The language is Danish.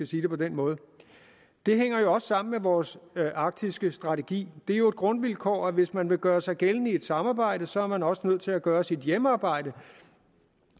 sige det på den måde det hænger jo også sammen med vores arktiske strategi det er jo et grundvilkår at hvis man vil gøre sig gældende i et samarbejde så er man også nødt til at gøre sit hjemmearbejde